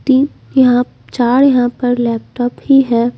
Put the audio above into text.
तीन यहाँ चार यहाँ पर लैपटॉप ही हैं ।